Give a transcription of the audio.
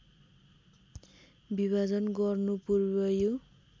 विभाजन गर्नुपूर्व यो